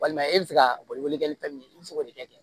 Walima e bɛ se ka boli boli kɛ ni fɛn min ye i bɛ se k'o de kɛ